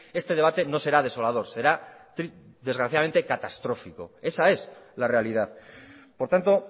este debate no será desolador será desgraciadamente catastrófico esa es la realidad por tanto